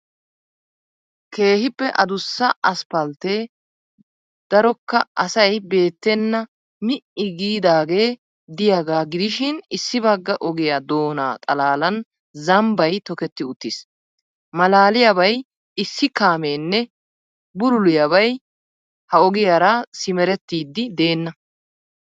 Keehiippe adussa asppaltee darokka asay beettenna mi'i giidaagee diyaagaa gidishiin issi bagga ogiyaa doonaa xalalaan zambbay tokketti uttiis. Maalaaliyabay issi kaammenne bululiyaabay ha ogiyaara simerettidi deena.